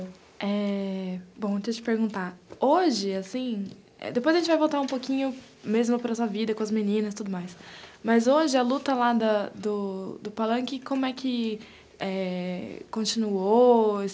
É... bom, eu tinha que te perguntar, hoje, assim, depois a gente vai voltar um pouquinho mesmo para a nossa vida, com as meninas e tudo mais, mas hoje a luta lá do Palanque, como é que continuou?